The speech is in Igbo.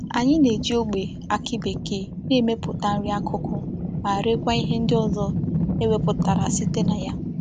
Anyi na-eji ogbe aki bekee na-emeputa nri akuku ma rekwa ihe ndi ozo e weputara site na ya.